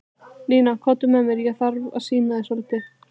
Nína, komdu með mér, ég þarf að sýna þér svolítið.